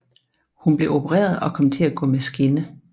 Hun blev opereret og kom til at gå med skinne